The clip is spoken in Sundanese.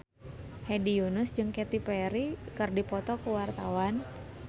Hedi Yunus jeung Katy Perry keur dipoto ku wartawan